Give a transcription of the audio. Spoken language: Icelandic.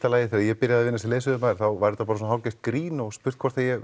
lagi þegar ég byrjaði að vinna sem leiðsögumaður þá var þetta bara svona hálfgert grín og spurt hvort að ég